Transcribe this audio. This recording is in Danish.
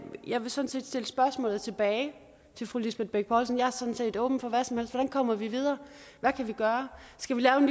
jeg vil sådan set stille spørgsmålet tilbage til fru lisbeth bech poulsen jeg er sådan set åben for hvad som helst hvordan kommer vi videre hvad kan vi gøre skal vi lave